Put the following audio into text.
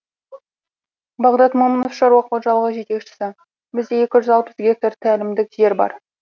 бағдат момынов шаруа қожалығы жетекшісі бізде екі жүз алпыс гектар тәлімдік жер бар